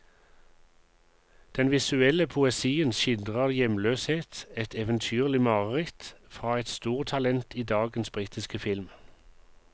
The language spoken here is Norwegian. Den visuelle poesien skildrer hjemløshet, et eventyrlig mareritt, fra et stortalent i dagens britiske film.